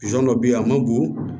dɔ bɛ yen a ma bon